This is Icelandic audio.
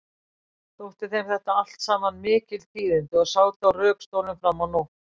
Þótti þeim þetta allt saman mikil tíðindi og sátu á rökstólum fram á nótt.